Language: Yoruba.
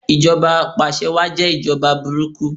Ìjọba apàse wáà jẹ́ ìjọba burúkú